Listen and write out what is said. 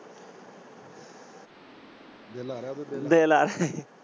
ਦਿਲ ਆ ਰਿਹਾ।